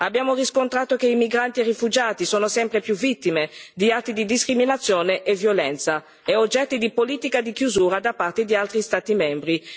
Abbiamo riscontrato che i migranti e i rifugiati sono sempre più spesso vittime di atti di discriminazione e violenza e oggetto di politiche di chiusura da parte di altri Stati membri.